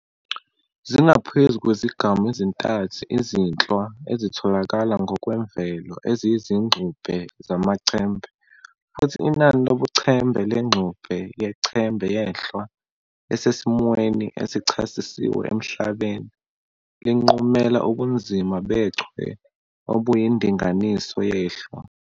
Zingaphezu kwezigamu ezintathu izinhlwa ezitholakala ngokwemvelo eziyizingxube zamaChembe, futhi inani lobuChembe lengxube yeChembe yenhlwa esesimweni esichasisiwe emhlabeni, linqumela ubunzima bechwe obuyindinganiso yenhlwa.